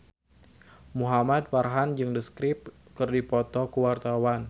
Muhamad Farhan jeung The Script keur dipoto ku wartawan